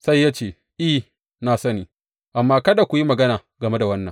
Sai ya ce, I, na sani, amma kada ku yi magana game da wannan.